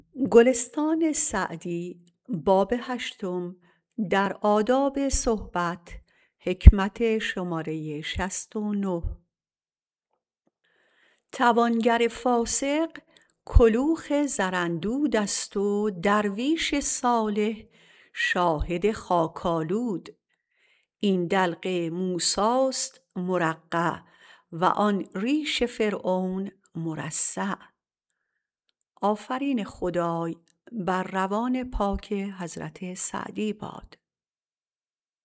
توانگر فاسق کلوخ زراندود است و درویش صالح شاهد خاک آلود این دلق موسی است مرقع و آن ریش فرعون مرصع